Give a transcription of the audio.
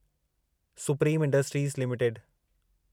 supreme industries limited